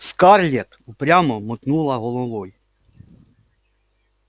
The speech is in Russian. скарлетт упрямо мотнула головой